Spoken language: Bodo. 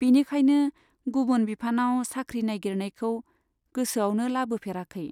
बिनिखायनो गुबुन बिफानाव साख्रि नाइगिरनायखौ गोसोआवनो लाबोफेराखै।